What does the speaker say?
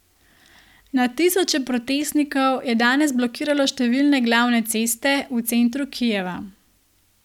Na tisoče protestnikov je danes blokiralo številne glavne ceste v centru Kijeva.